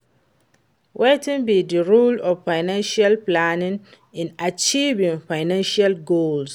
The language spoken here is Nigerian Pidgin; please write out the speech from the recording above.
wetin be di role of financial planning in achieving financial goals?